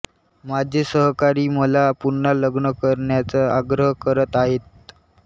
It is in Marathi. माझे सहकारी मला पुन्हा लग्न करण्याचा आग्रह करत आहेत